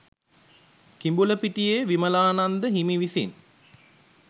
කිඹුලපිටියේ විමලානන්ද හිමි විසිනි.